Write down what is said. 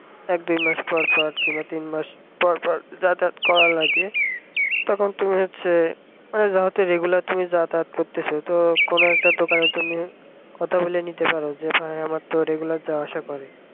এক দুই মাস পর পর কিংবা তিন মাস পর পর যাতায়াত করা লাগে তখন তুমি হচ্ছে তুমি যেহেতু regular তুমি যাতায়াত করছো সেহেতু কোন একটা দোকানে তুমি কথা বলে নিতে পারো যে আমিতো regular যাওয়া আসা করি